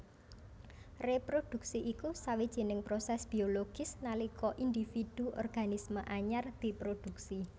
Réprodhuksi iku sawjining prosès biologis nalika individu organisme anyar diprodhuksi